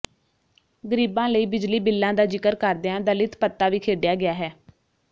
ਗਰੀਬਾਂ ਲਈ ਬਿਜਲੀ ਬਿੱਲਾਂ ਦਾ ਜਿਕਰ ਕਰਦਿਆਂ ਦਲਿਤ ਪੱਤਾ ਵੀ ਖੇਡਿਆ ਗਿਆ ਹੈ